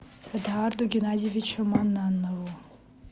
эдуарду геннадьевичу маннанову